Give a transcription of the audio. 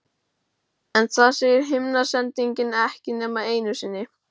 En það segir himnasendingin ekki nema einu sinni.